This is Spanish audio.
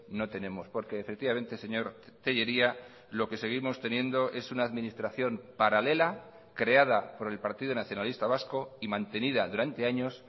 no tenemos porque efectivamente señor tellería lo que seguimos teniendo es una administración paralela creada por el partido nacionalista vasco y mantenida durante años